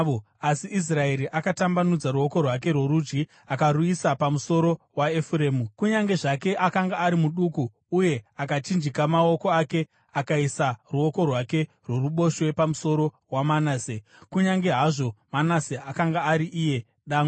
Asi Israeri akatambanudza ruoko rwake rworudyi akaruisa pamusoro waEfuremu, kunyange zvake akanga ari muduku, uye akachinjika maoko ake, akaisa ruoko rwake rworuboshwe pamusoro waManase, kunyange hazvo Manase akanga ari iye dangwe.